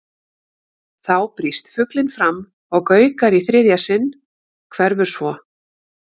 Þá brýst fuglinn fram og gaukar í þriðja sinn, hverfur svo.